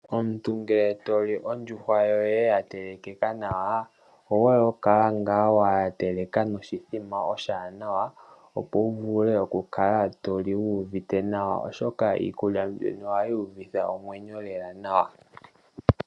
Omuntu ngele toli ondjuhwa yoye yatelekeka nawa, omuhole okukala ngaa wa teleka noshithima oshiwanawa, opo wuvule okukala toli wu uvite nawa. Oshoka iikulya mbino ohayi uvitha omwenyo lela nawa.